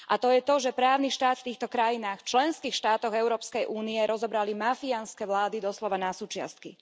A to je to, že právny štát v týchto krajinách, členských štátoch Európskej únie, rozobrali mafiánske vlády doslova na súčiastky.